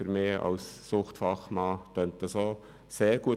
Für mich als Suchtfachmann klingt das auch sehr gut.